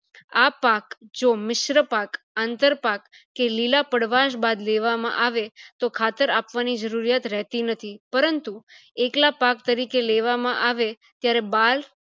આ પાક જો મિશ્ર પાક, આંતર પાક, કે લીલા પડવાશ બાદ લેવામાં આવે તો ખાતર આપવાની જરૂરિયાત રહેતી નથી પરંતુ એકલા પાક તરીકે લેવામાં આવે ત્યારે બાર